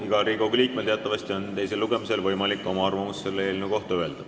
Igal Riigikogu liikmel on teisel lugemisel teatavasti võimalus öelda oma arvamus eelnõu kohta.